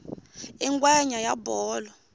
i ngwenya ya bolo